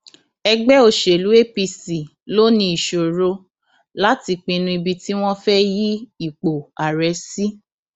ẹgbẹ òṣèlú apc ló ní ìṣòro láti pinnu ibi tí wọn fẹẹ yí ipò ààrẹ sí